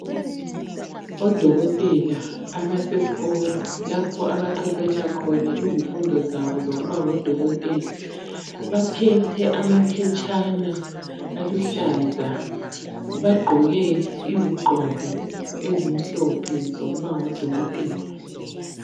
Odokotela abasesikolo lapho abaqeqetsha khona izifundo zabo zokuba ngodokotela baphethe amaphetshana aluhlaza, bagqoke izigqoko ezimhlophe zokuba ngodokotela.